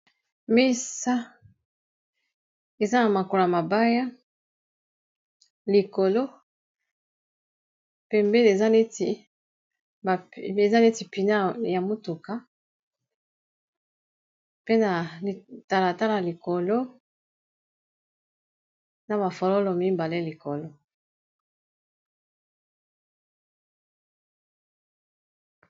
Misa eza na makola mabaya likolo pembe eza neti pina ya motuka pe na litalatala likolo na mafololo mibale likolo.